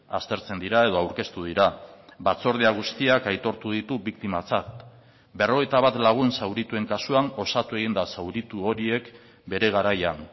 aztertzen dira edo aurkeztu dira batzordea guztiak aitortu ditu biktimatzat berrogeita bat lagun zaurituen kasuan osatu egin da zauritu horiek bere garaian